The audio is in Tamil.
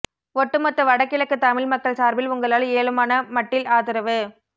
ஒட்டு மொத்த வடகிழக்கு தமிழ் மக்கள் சார்பில் உங்களால் இயலுமான மட்டில் ஆதரவு